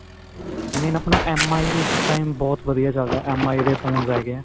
main ਆਪਣਾਂ MI ਇਸ time ਬਹੁਤ ਵਧੀਆ ਚੱਲ ਰਿਹਾ MI ਦੇ phones ਹੈਗੇ ਹੈ.